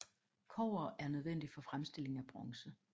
Kobber er nødvendigt for fremstilling af bronze